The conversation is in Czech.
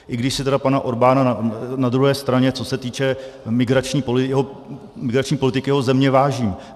I když si tedy pana Orbána na druhé straně, co se týče migrační politiky jeho země, vážím.